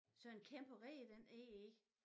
Sådan en kæmpe rede den er i